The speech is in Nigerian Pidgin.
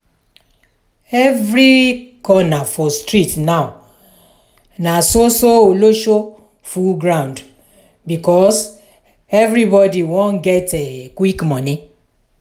every corner for street now na so so olosho full ground because everybody wan get quick money.